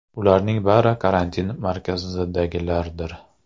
Ularning bari karantin markazidagilardir.